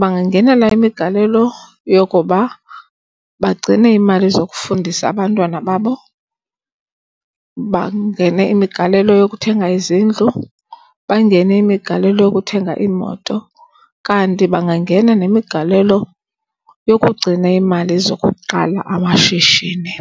Bangangenela imigalelo yokuba bagcine iimali zokufundisa abantwana babo. Bangene imigalelo yokuthenga izindlu. Bangene imigalelo yokuthenga iimoto. Kanti bangangena nemigalelo yokugcina iimali zokuqala amashishini.